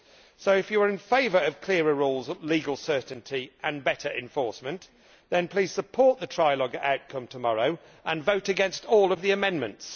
So if you are in favour of clearer rules, legal certainty and better enforcement then please support the trialogue outcome tomorrow and vote against all of the amendments.